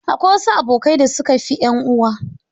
Akwai wasu abokai da suka fi 'yan uwa.